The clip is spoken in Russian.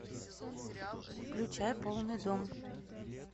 включай полный дом